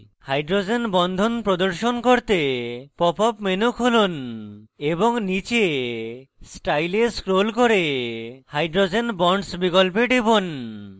hydrogen বন্ধন প্রদর্শন করতে pop up menu খুলুন এবং নীচে style এ scroll করে hydrogen bonds বিকল্পে যান